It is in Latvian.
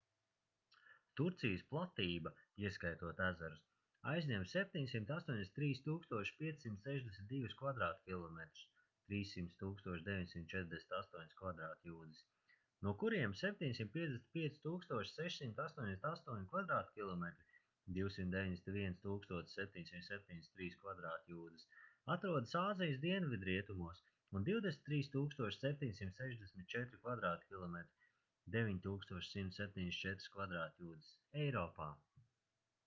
turcijas platība ieskaitot ezerus aizņem 783 562 kvadrātkilometrus 300 948 kv. jūdzes no kuriem 755 688 kvadrātkilometri 291 773 kv. jūdzes atrodas āzijas dienvidrietumos un 23 764 kvadrātkilometri 9174 kv. jūdzes eiropā